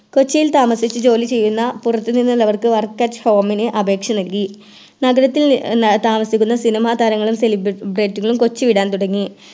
കൊച്ചിയിൽ താമസിച്ച് ജോലിചെയ്യുന്ന പുറത്തിനിന്നുള്ളവർക്ക് Work at home അപേക്ഷ നൽകി നഗരത്തിൽ താമസിക്കുന്ന സിനിമ താരങ്ങളും Celebrate ഉം കൊച്ചി വിടാൻ തുടങ്ങി